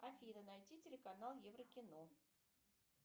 афина найти телеканал евро кино